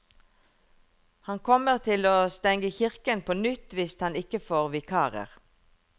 Han kommer til å stenge kirken på nytt hvis han ikke får vikarer.